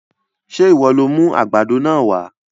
Sé ìwọ lo mú àgbàdo náà wá?